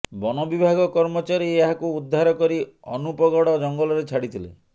ବନ ବିଭାଗ କର୍ମଚାରୀ ଏହାକୁ ଉଦ୍ଧାର କରି ଅନୁପଗଡ଼ ଜଙ୍ଗଲରେ ଛାଡି ଥିଲେ